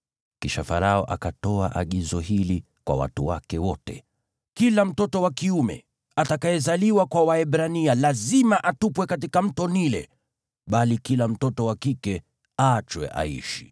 Kisha Farao akatoa agizo hili kwa watu wake wote: “Kila mtoto wa kiume atakayezaliwa kwa Waebrania lazima atupwe katika Mto Naili, bali kila mtoto wa kike aachwe aishi.”